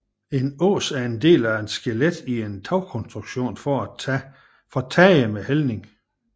En ås en del af skelettet i en tagkonstruktion for tage med hældning